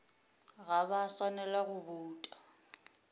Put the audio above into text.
ga ba swanela go bouta